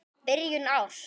Byrjun árs.